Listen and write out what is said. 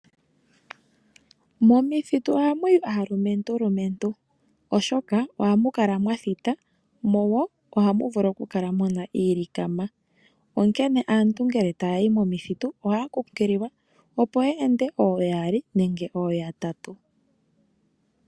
Momithitu ohamuyi aalumentu lumentu oshoka ohamu kala mwathita. Mo ohamu vulu oku kala muna iilikama. Onkene aantu aantu ngele taya yi momithitu ohaya nkunkililwa opo ya ende ooyali nenge ooyatatu.